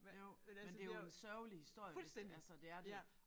Jo men det er jo en sørgelig historie hvis det altså det er det